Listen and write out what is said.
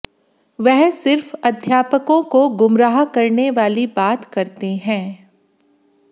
वह सिर्फ अध्यापकों को गुमराह करने वाली बात करते हैं